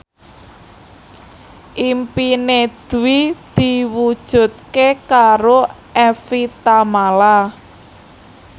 impine Dwi diwujudke karo Evie Tamala